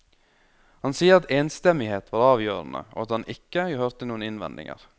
Han sier at enstemmighet var avgjørende, og at han ikke hørte noen innvendinger.